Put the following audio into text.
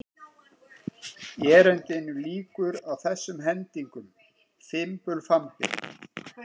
Erindinu lýkur á þessum hendingum: Fimbulfambi